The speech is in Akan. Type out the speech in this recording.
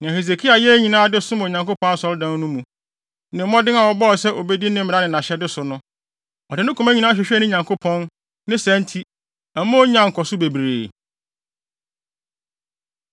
Nea Hesekia yɛɛ nyinaa de som wɔ Onyankopɔn Asɔredan no mu, ne mmɔden a ɔbɔɔ sɛ obedi ne mmara ne nʼahyɛde so no, ɔde ne koma nyinaa hwehwɛɛ ne Nyankopɔn. Ne saa nti, ɛma onyaa nkɔso bebree.